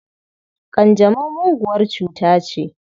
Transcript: Ƙanjamau muguwar cuta ce.